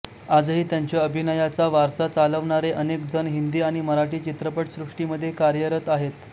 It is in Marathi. आजही त्यांच्या अभिनयाचा वारसा चालवणारे अनेक जण हिंदी आणि मराठी चित्रपटसृष्टीमध्ये कार्यरत आहेत